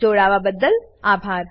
અમને જોડાવાબદ્દલ આભાર